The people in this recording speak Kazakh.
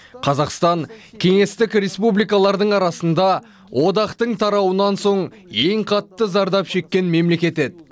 қазақстан кеңестік республикалардың арасында одақтың тарауынан соң ең қатты зардап шеккен мемлекет еді